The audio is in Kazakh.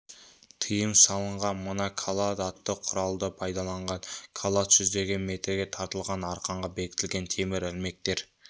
тыйым салынған мына калад атты құралды пайдаланған калад жүздеген метрге тартылған арқанға бекітілген темір ілмектер